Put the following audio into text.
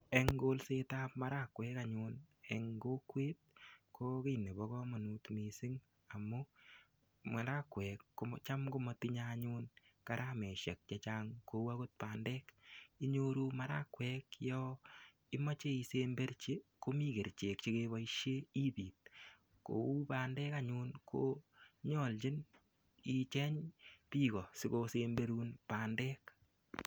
Eng kolset ap marakuek anyun eng kokwet ko kiy nebo komonut mising amu marakuek ko cham komatinyei karameshek che chang kou akot bandek inyoru marakwek yo imoche isemberchi komii kerchek chekeboishe ibit kou bandek anyun ko nyolchin icheny biko sikosemberun bandek.